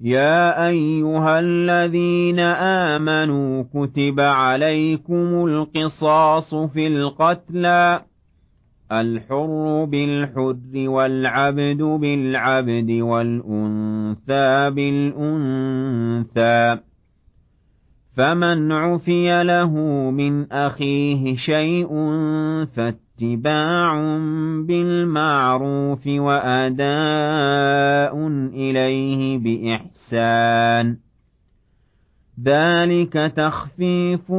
يَا أَيُّهَا الَّذِينَ آمَنُوا كُتِبَ عَلَيْكُمُ الْقِصَاصُ فِي الْقَتْلَى ۖ الْحُرُّ بِالْحُرِّ وَالْعَبْدُ بِالْعَبْدِ وَالْأُنثَىٰ بِالْأُنثَىٰ ۚ فَمَنْ عُفِيَ لَهُ مِنْ أَخِيهِ شَيْءٌ فَاتِّبَاعٌ بِالْمَعْرُوفِ وَأَدَاءٌ إِلَيْهِ بِإِحْسَانٍ ۗ ذَٰلِكَ تَخْفِيفٌ